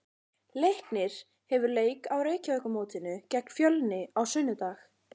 Leiknir hefur leik á Reykjavíkurmótinu gegn Fjölni á sunnudag.